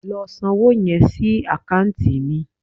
Lọ san owó yẹn sí àkáǹtì mi